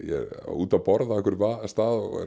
úti að borða á einhverjum stað og